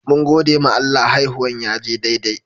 Mun gode ma Allah, haihuwan ya je daidai.